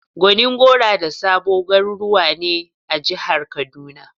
Gonin gora da Sabo garuruwa ne a jihar kaduna.